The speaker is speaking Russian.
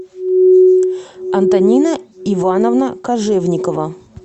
антонина ивановна кожевникова